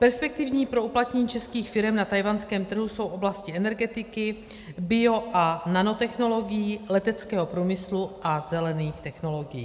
Perspektivní pro uplatnění českých firem na tchajwanském trhu jsou oblasti energetiky, bio- a nanotechnologií, leteckého průmyslu a zelených technologií.